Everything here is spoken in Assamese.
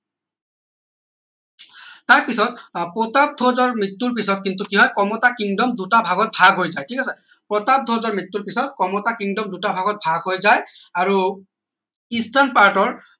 তাৰ পিছত আহ প্ৰতাপধ্বজৰ মৃত্যৰ পিছত কিন্তু কি হয় কমতা kingdom দুটা ভাগত ভাগ হৈ যায় ঠিক আছে প্ৰতাপধ্বজ মৃত্যৰ পিছত কমতা kingdom দুটা ভাগত ভাগ হৈ যায় আৰু eastern part ৰ